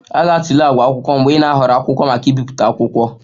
A ga-atụle àgwà akwụkwọ mgbe ị na-ahọrọ akwụkwọ maka ibipụta akwụkwọ